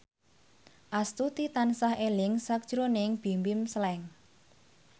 Astuti tansah eling sakjroning Bimbim Slank